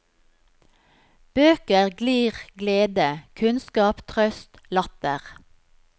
Bøker glir glede, kunnskap, trøst, latter.